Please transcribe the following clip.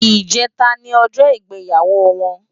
Ijètá ni òjò igbéyáwó wòn